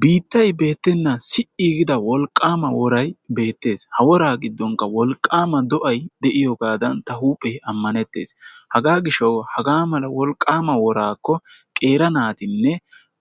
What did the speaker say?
Biittay beettena si"i giida wolqaama woray beettes. Ha wora giddonkka wolqqama do'ay de'iyooga a huuphe ammanettes. Haga gishshaw haga mala wolqaama worakko qeerii naatinne